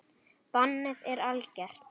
Bannið er algert.